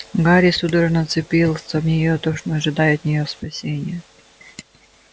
гарри судорожно вцепился в её точно ожидая от неё спасения